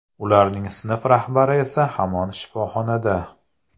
Ularning sinf rahbari esa hamon shifoxonada.